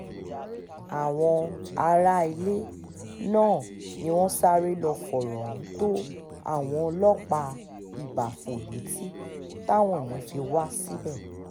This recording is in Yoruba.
àwọn aráalé náà ni wọ́n sáré lọ́ọ́ fọ̀rọ̀ ohun tó àwọn ọlọ́pàá ìbáfo létí táwọn yẹn fi wá síbẹ̀